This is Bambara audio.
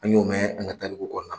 An y'o mɛn an ka tarikuw kɔnɔ